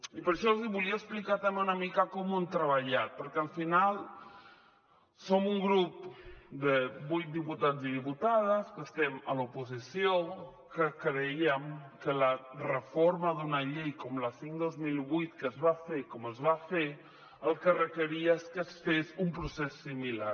i per això els volia explicar també una mica com ho hem treballat perquè al final som un grup de vuit diputats i diputades que estem a l’oposició que crèiem que la reforma d’una llei com la cinc dos mil vuit que es va fer com es va fer el que requeria és que es fes un procés similar